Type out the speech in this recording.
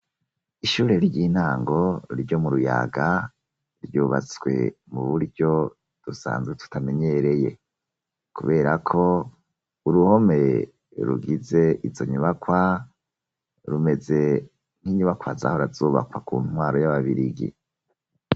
Ishure ry'intango ryo mu ruyaga ryubatswe mu buryo dusanzwe tutamenyereye kubera ko uruhome rugize izo nyubakwa rumeze nk'inyubakwa zahora zubakwa ku ntwaro y'ababirigi.